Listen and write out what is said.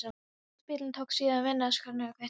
Inni á spítalanum tók síðan við annars konar hvít veröld.